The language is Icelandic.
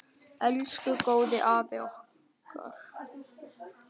Elsku góði afi okkar.